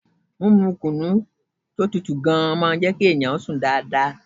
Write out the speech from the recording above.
Mímu kùnú tí ó tutù gan-an máa ń jẹ́ kí ènìyàn sùn dáadáa.